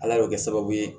Ala bɛ kɛ sababu ye